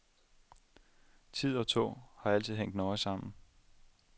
Tid og tog har altid hængt nøje sammen.